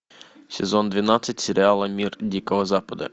сезон двенадцать сериала мир дикого запада